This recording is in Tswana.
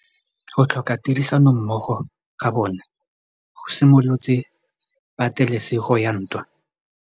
Go tlhoka tirsanommogo ga bone go simolotse patêlêsêgô ya ntwa.